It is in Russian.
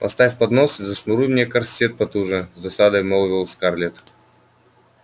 поставь поднос и зашнуруй мне корсет потуже с досадой молвила скарлетт